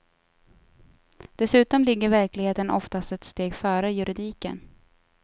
Dessutom ligger verkligheten oftast ett steg före juridiken.